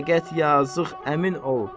Fəqət yazıq əmin ol.